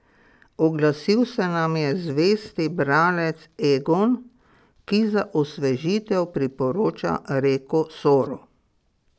Oglasil se nam je zvesti bralec Egon, ki za osvežitev priporoča reko Soro.